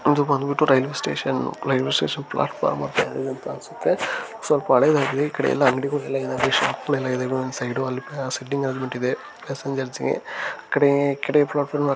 ಇದು ಬಂದಬಿಟ್ಟು railway station railway station platform ಸ್ವಲ್ಪ ಹಳೆ ಹಳ್ಳಿ ಕಡೆ ಎಲ್ಲಾ ಅಂಗಡಿಗಳು ಎಲ್ಲಾ ಇದಾವೆ ಶಾಪ್ ಗಳೆಲ್ಲಾ ಇದಾವೆ ಒಂದ ಸೈಡು ಸೆಟ್ಟಿಂಗ್ ಆಗಬಿಟ್ಟಿದೆ ಪ್ಯಾಸೆಂಜರ್ಸಗೆ ಕಡೆ ಕಡೆ ಪ್ಲಾಟ್ ಫಾರಂ--